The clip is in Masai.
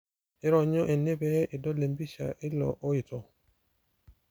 ironyo ene pee idol empisha eilo oito